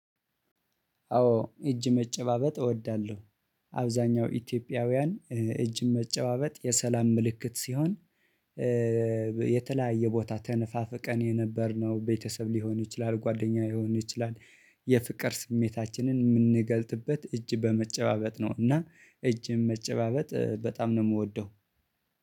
አዎ እጅ መጨባበጥ እወዳለሁ። አብዛኛው ኢትዮጵያውያን እጅን መጨባበጥ የሰላም ምልክት ሲሆን። የተለያየ ቦታ ተነፋፍቀን የነበርነው ቤተሰብ ሊሆን ይችላል ጓደኛ ሊሆን ይችላል የፍቅር ስሜታችንን የምንገልጥበት እጅ በመጨባበጥ ነው። እና እጅም መጨባበጥ በጣም ነው የምወደው።